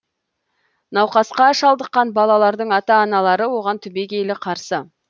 науқасқа шалдыққан балалардың ата аналары оған түбегейлі қарсы